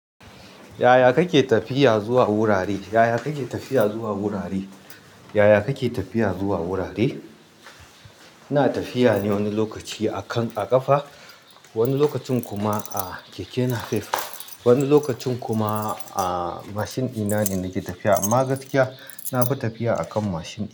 Yaya kake tafiya zuwa wurare? Yaya kake tafiya zuwa wurare? Yaya kake tafiya zuwa wurare? Ina tafiya ne wani lokaci a kan a ƙafa, wani lokacin kuma a keke napep, wani lokacin kuma a mashin ɗina ne nake tafiya. Amma gaskiya na fi tafiya a kan mashin.